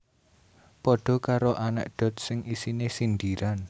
Padha karo anekdot sing isine sindiran